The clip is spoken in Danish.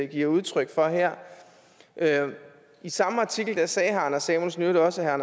giver udtryk for her i samme artikel sagde herre anders samuelsen i øvrigt også at herre